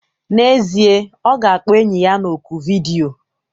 N'ezie, ọ ga-akpọ enyi ya na oku vidiyo.